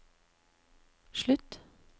slutt